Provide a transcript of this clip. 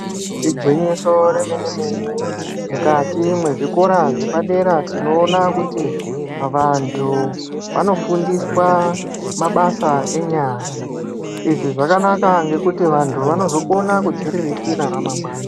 Igwinyiso remenemene mukati mwezvikora zvepadera tinoona kuti vantu vanofundiswa mabasa enyara. Izvi zvakanaka ngekuti vantu vanozokona kudziriritira ramangwana.